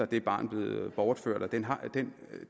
det barn bliver bortført og den den